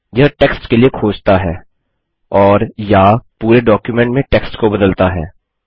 यह टेक्स्ट के लिए खोजता है औरया पूरे डॉक्युमेंट में टेक्स्ट को बदलता है